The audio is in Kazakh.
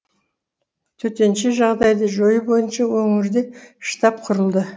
төтенше жағдайды жою бойынша өңірде штаб құрылды